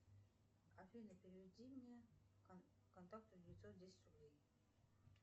афина переведи мне контакту девятьсот десять рублей